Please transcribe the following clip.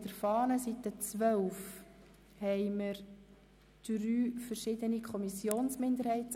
In der Fahne haben wir auf Seite 12 drei verschiedene Anträge der Kommissionsminderheit.